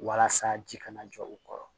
Walasa ji kana jɔ u kɔrɔ